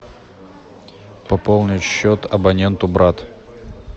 пополнить счет абоненту брат